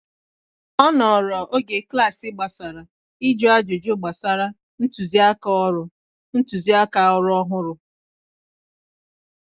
Ọ nọọrọ oge klaasị gbasara ịjụ ajụjụ gbasara ntụziaka ọrụ ntụziaka ọrụ ọhụrụ